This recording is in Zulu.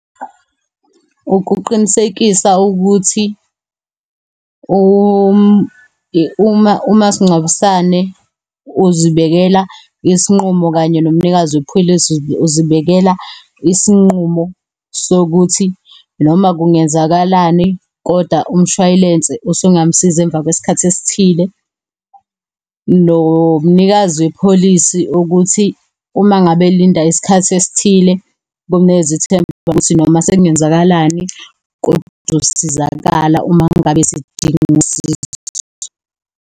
Ukuqinisekisa ukuthi umasingcwabisane uzibekela isinqumo kanye nomumnikazi wepholisi uzibekela isinqumo sokuthi noma kungenzakalani, koda umshwalense usungamusiza emva kwesikhathi esithile. Nomnikazi wepholisi ukuthi umangabe elinda isikhathi esithile kumnikeza ithemba lokuthi noma sekungenzakalani kodwa uzosizakala uma ngabe esedinga usizo.